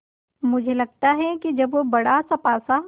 मुझे लगता है कि जब वह बड़ासा पासा